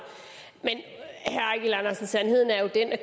men sandheden er jo den at